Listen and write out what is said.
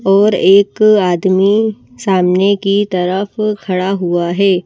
और एक आदमीसामने की तरफ खड़ा हुआ है।